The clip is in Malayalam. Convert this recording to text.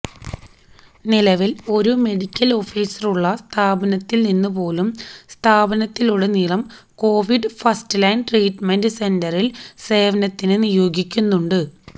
നിലവിൽ ഒരു മെഡിക്കൽ ഓഫീസറുള്ള സ്ഥാപനത്തിൽ നിന്നു പോലും സംസ്ഥാനത്തുടനീളം കോവിഡ് ഫസ്റ്റ് ലൈൻ ട്രീറ്റ്മെന്റ് സെന്ററിൽ സേവനത്തിന് നിയോഗിക്കുന്നുണ്ട്